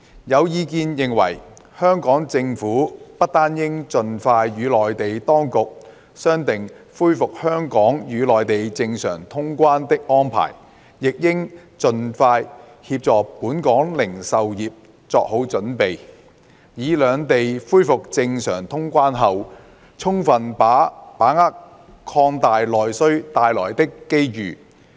有意見認為，香港政府不單應盡快與內地當局商定恢復香港與內地正常通關的安排，亦應協助本港零售業作好準備，以在兩地恢復正常通關後，充分把握擴大內需帶來的機遇。